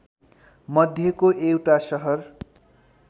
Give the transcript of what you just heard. मध्येको एउटा सहर